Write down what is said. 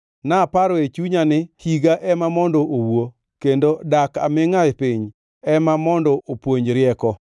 Naparo e chunya ni, ‘Higa ema mondo owuo; kendo dak amingʼa e piny ema mondo opuonj rieko!’